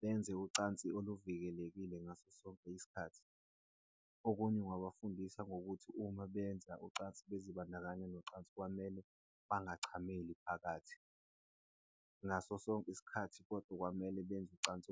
Benze ucansi oluvikelekile ngaso sonke isikhathi. Okunye ngingabafundisa ngokuthi uma benza ucansi bezibandakanye nocansi, kwamele bangachameli phakathi. Ngaso sonke isikhathi kodwa kwamele benze ucansi .